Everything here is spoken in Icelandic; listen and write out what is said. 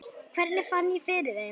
Hvernig ég fann fyrir þeim?